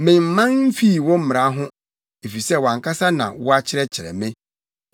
Memman mfii wo mmara ho, efisɛ wʼankasa na woakyerɛkyerɛ me.